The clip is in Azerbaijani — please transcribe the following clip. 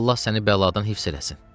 Allah səni bəladan hifz eləsin.